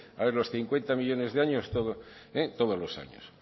a ver los cincuenta millónes de años todos los años